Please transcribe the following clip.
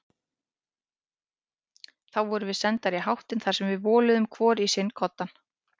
Þá vorum við sendar í háttinn þar sem við voluðum hvor í sinn koddann.